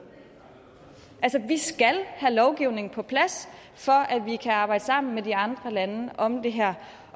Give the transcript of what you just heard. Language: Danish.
altså vi skal have lovgivningen på plads for at vi kan arbejde sammen med de andre lande om det her